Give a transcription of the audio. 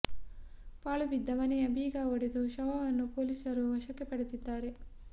ಪಾಳು ಬಿದ್ದ ಮನೆಯ ಬೀಗ ಒಡೆದು ಶವವನ್ನು ಪೊಲೀಸರು ವಶಕ್ಕೆ ಪಡೆದಿದ್ದಾರೆ